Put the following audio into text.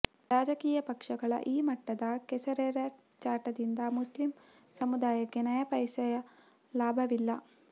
ರಾಜಕೀಯ ಪಕ್ಷಗಳ ಈ ಮಟ್ಟದ ಕೆಸರೆರಚಾಟದಿಂದ ಮುಸ್ಲಿಂ ಸಮುದಾಯಕ್ಕೆ ನಯಾಪೈಸೆಯ ಲಾಭವಿಲ್ಲ